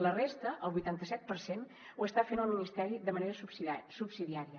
la resta el vuitanta set per cent ho està fent el ministeri de manera subsidiària